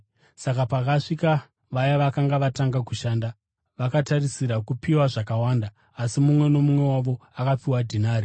Saka pakasvika vaya vakanga vatanga kushanda, vakatarisira kupiwa zvakawanda. Asi mumwe nomumwe wavo akapiwa dhinari.